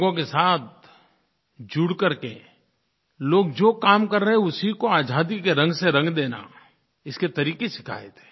लोगों के साथ जुड़ करके लोग जो काम कर रहे हैं उसी को आज़ादी के रंग से रंग देना इसके तरीक़े सिखाए थे